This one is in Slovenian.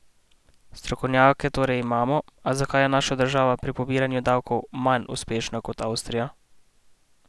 Strokovnjake torej imamo, a zakaj je naša država pri pobiranju davkov manj uspešna kot Avstrija?